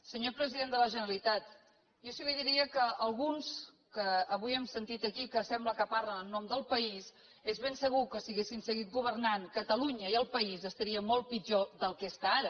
senyor president de la generalitat jo sí li diria que alguns que avui hem sentit aquí que sembla que parlen en nom del país és ben segur que si haguessin seguit governant catalunya i el país estarien molt pitjor del que està ara